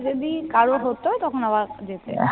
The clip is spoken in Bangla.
যদি কারোর হত, তখন আবার যেতে